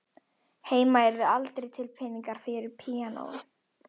Heima yrðu aldrei til peningar fyrir píanói